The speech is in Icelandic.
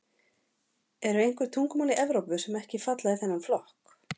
Eru einhver tungumál í Evrópu sem ekki falla í þennan flokk?